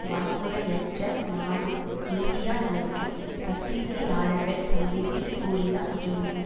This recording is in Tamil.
வன்முறையற்ற நாடு இந்தியா என்றும் பத்திரிகையாளர்கள் சந்திப்பில் கூறினார் ஜோலி